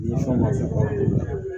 Ni fɛnw ma fɔ